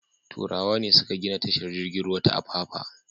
Turawa ne suka gina tashar jirgin ruwa ta Apapa.